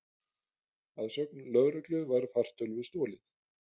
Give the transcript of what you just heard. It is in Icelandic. Að sögn lögreglu var fartölvu stolið